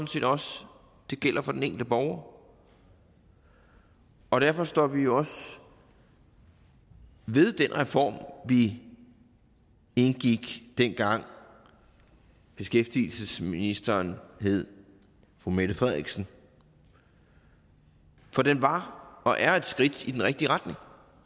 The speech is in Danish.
set også gælder for den enkelte borger og derfor står vi også ved den reform vi indgik dengang beskæftigelsesministeren hed fru mette frederiksen for den var og er et skridt i den rigtige retning